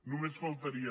només faltaria